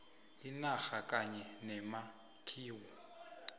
inarha kanye nemakhiwo